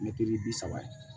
Mɛtiri bi saba ye